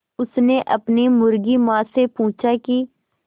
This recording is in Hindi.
उसने अपनी मुर्गी माँ से पूछा की